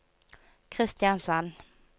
Kristiansand